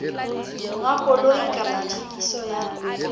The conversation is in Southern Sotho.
monga koloi kapa thekiso ya